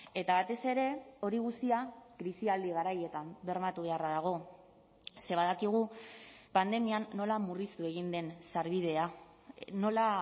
eta batez ere hori guztia krisialdi garaietan bermatu beharra dago ze badakigu pandemian nola murriztu egin den sarbidea nola